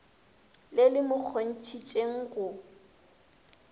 le le mo kgontšhitšego go